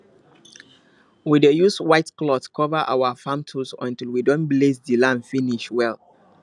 we dey use white cloth cover our farm tools until we don bless the land finish well